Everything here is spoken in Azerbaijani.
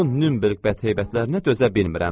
Bu Nünberq bət heybətlərinə dözə bilmirəm.